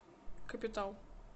капитал